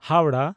Howrah